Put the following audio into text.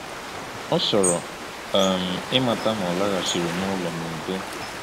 Ọ chọrọ um ịmata ma ọ laghachiri n’ụlọ n’udo.